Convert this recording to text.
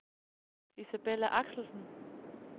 Isabella Axelsen